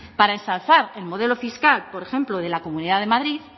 para ensalzar el modelo fiscal por ejemplo de la comunidad de madrid